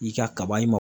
I ka kaba in